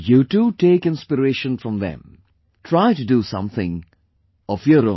You too take inspiration from them; try to do something of your own